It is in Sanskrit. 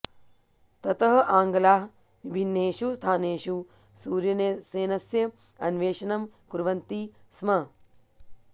ततः आङ्ग्लाः विभिन्नेषु स्थानेषु सूर्यसेनस्य अन्वेषणं कुर्वन्ति स्म